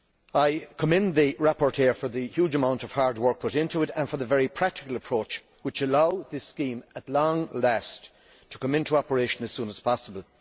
I commend the rapporteur for the huge amount of hard work put into it and for the very practical approach which allows this scheme at long last to come into operation as soon as possible.